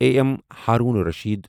A M Haroon Rashid